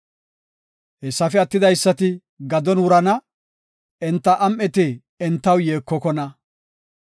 Hessafe attidaysati gadon wurana; enta am7eti entaw yeekokona.